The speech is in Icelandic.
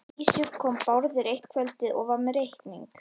Að vísu kom Bárður eitt kvöldið og var með reikning.